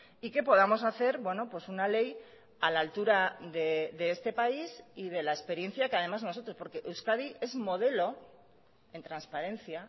y que podamos hacer una ley a la altura de este país y de la experiencia que además nosotros porque euskadi es modelo en transparencia